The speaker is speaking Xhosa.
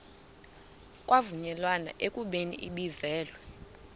kwavunyelwana ekubeni ibizelwe